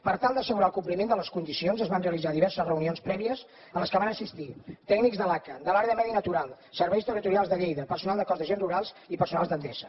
per tal d’assegurar el compliment de les condicions es van realitzar diverses reunions prèvies a les que va assistir tècnics de l’aca de l’àrea de medi natural serveis territorials de lleida personal del cos d’agents rurals i personal d’endesa